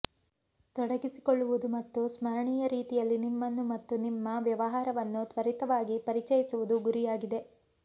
ತೊಡಗಿಸಿಕೊಳ್ಳುವುದು ಮತ್ತು ಸ್ಮರಣೀಯ ರೀತಿಯಲ್ಲಿ ನಿಮ್ಮನ್ನು ಮತ್ತು ನಿಮ್ಮ ವ್ಯವಹಾರವನ್ನು ತ್ವರಿತವಾಗಿ ಪರಿಚಯಿಸುವುದು ಗುರಿಯಾಗಿದೆ